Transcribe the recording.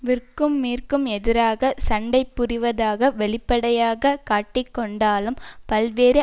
விற்கும் மிற்கும் எதிராக சண்டை புரிவதாக வெளிப்படையாக காட்டிக்கொண்டாலும் பல்வேறு